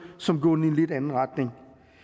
som gående i en lidt anden retning